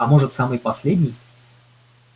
а может самый последний